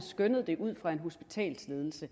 fra en hospitalsledelses